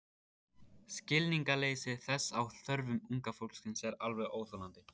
Skilningsleysi þess á þörfum unga fólksins er alveg óþolandi.